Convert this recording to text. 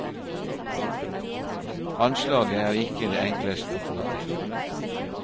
Anslaget er ikke det enkleste å få til.